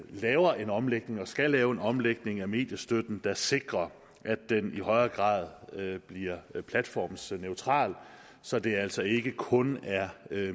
laver en omlægning og skal lave en omlægning af mediestøtten der sikrer at den i højere grad bliver platformsneutral så det altså ikke kun er